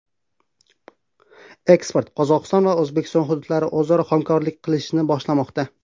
Ekspert: Qozog‘iston va O‘zbekiston hududlari o‘zaro hamkorlik qilishni boshlamoqda.